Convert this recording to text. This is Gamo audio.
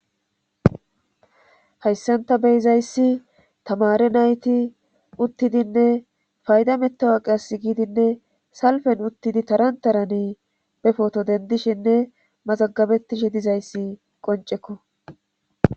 hayssan tani beyzayssi tamare nayti uttidinne fayda mettawa qass giidinne salfen uttidi tarantarani befoto dendishenne mazagabettishe dizayssi qoncekko